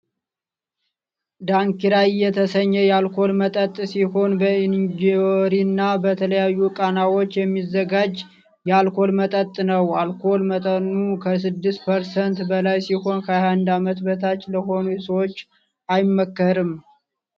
ዳንኪራይ የተሰኘ የአልኮል መጠጥ ሲሆን በእንጆሪና በተለያዩ ቃናዎች የሚዘጋጅ የአልኮል መጠጥ ነው አልኮል መጠኑ ከስድስት ፐርሰንት በላይ ሲሆን 21 ዓመት በታች ለሆኑ ሰዎች አይመከርም።